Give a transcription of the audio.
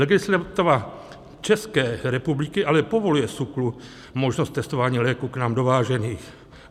Legislativa České republiky ale povoluje SÚKLu možnost testování léků k nám dovážených.